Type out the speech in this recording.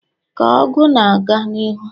ka ọgụ na-aga n'ihu